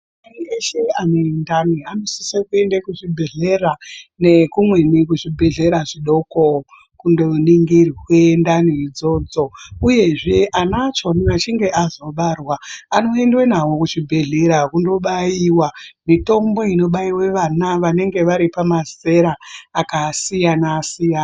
Anhu eshe ane ndani anosise kuende kuzvibhedhlera nekumweni kuzvibhedhlera zvidoko kundoningirwe ndani idzodzo, Uyezve ana achoni achinge azobarwa anoendwe nawo kuzvibhedhera kundobaiwa mitombo inobaiwe vana vanenge vari pamazera akasiyana-siyana.